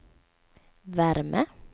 värme